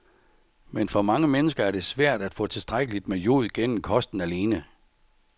Men for mange mennesker er det svært at få tilstrækkeligt med jod gennem kosten alene.